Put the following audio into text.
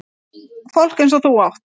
Fólk eins og þú átt